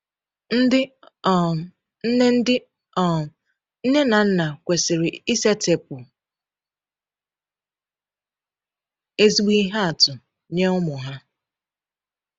Ndị um nne Ndị um nne na nna kwesịrị isetịpụ ezigbo ihe atụ nye ụmụ ha.